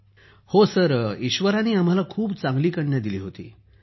Sukhbir ji sir ईश्वरानं आम्हाला खूप चांगली कन्या दिली होती